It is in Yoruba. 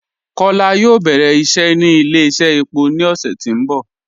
Kọla yóò bẹ̀rẹ̀ iṣẹ́ ni ilẹ̀-iṣẹ̀ èpọ̀ ni ọṣẹ̀ tí n bọ